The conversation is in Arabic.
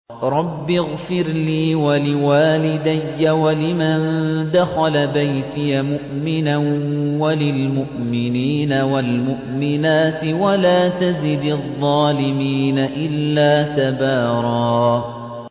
رَّبِّ اغْفِرْ لِي وَلِوَالِدَيَّ وَلِمَن دَخَلَ بَيْتِيَ مُؤْمِنًا وَلِلْمُؤْمِنِينَ وَالْمُؤْمِنَاتِ وَلَا تَزِدِ الظَّالِمِينَ إِلَّا تَبَارًا